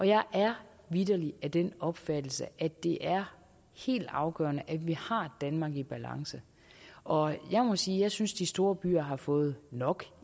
jeg er vitterlig af den opfattelse at det er helt afgørende at vi har et danmark i balance og jeg må sige at jeg synes de store byer har fået nok